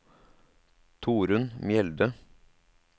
Torunn Mjelde